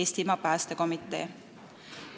Eestimaa Päästekomitee.